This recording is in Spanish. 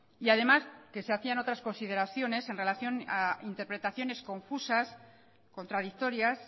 y además que se hacían otras consideraciones en relación a interpretaciones confusas contradictorias